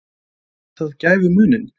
En gerði það gæfumuninn?